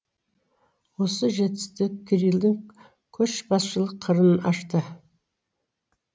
осы жетістік кирилдың көшбасшылық қырын ашты